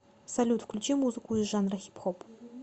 салют включи музыку из жанра хип хоп